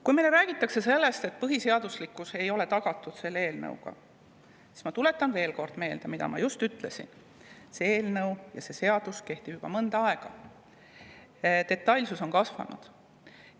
Kui meile räägitakse, et põhiseaduslikkus ei ole selle eelnõuga tagatud, siis ma tuletan veel kord meelde seda, mida ma just ütlesin: see seadus on kehtinud juba mõnda aega, selle detailsus on kasvanud.